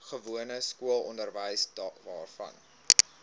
gewone skoolonderwys waarvan